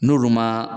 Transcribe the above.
N'olu ma